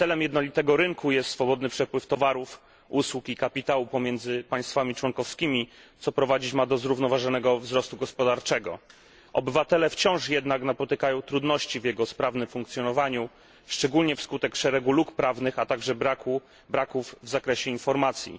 Celem jednolitego rynku jest swobodny przepływ towarów, usług i kapitału pomiędzy państwami członkowskimi, co prowadzić ma do zrównoważonego wzrostu gospodarczego. Obywatele wciąż jednak napotykają trudności w jego sprawnym funkcjonowaniu, szczególnie wskutek szeregu luk prawnych, a także niedostatecznych informacji.